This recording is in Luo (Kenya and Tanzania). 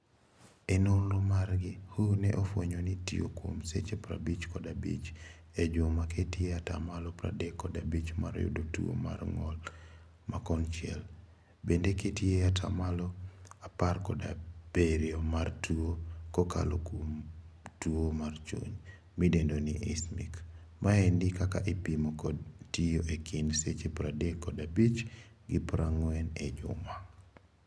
E nonro margi, WHO ne ofwenyo ni tio kuom seche prabich kod abich. E juma keti e atamalo pradek kod abich mar yudo tuo mar ngol ma konchiel. Bende keti e atamalo apar kod abirio mar tuo kokalo kom tuo mar chuny. Midendo ni ischemic. Maendi ka ipimo kod tio e kind seche pradek kod abich gi prangwen e juma.